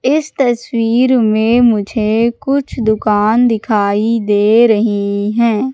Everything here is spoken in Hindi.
इस तस्वीर में मुझे कुछ दुकान दिखाई दे रही हैं।